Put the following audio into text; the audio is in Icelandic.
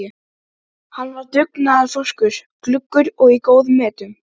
Ég þarf aðeins hérna að. að athuga þetta.